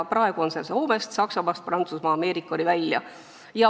Praegu on see Soomest, Saksamaast ja Prantsusmaast Ameerikani välja.